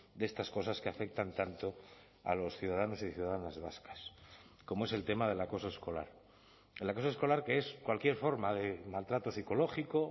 de estas cosas que afectan tanto a los ciudadanos y ciudadanas vascas como es el tema del acoso escolar el acoso escolar que es cualquier forma de maltrato psicológico